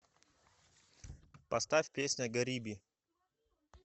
поставь песня гариби